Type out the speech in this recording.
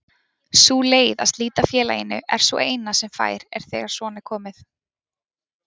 Sú leið að slíta félaginu er sú eina sem fær er þegar svona er komið.